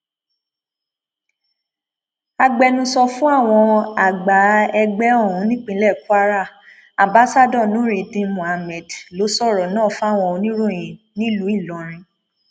agbẹnusọ fún àwọn àgbà ẹgbẹ ọhún nípìnlẹ kwara ambassador nurudeen mohammed ló sọrọ náà fáwọn oníròyìn nílùú ìlọrin